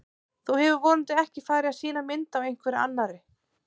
Þú hefur vonandi ekki farið að sýna mynd af einhverri annarri!